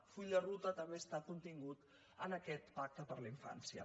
el full de ruta també està contingut en aquest pacte per a la infància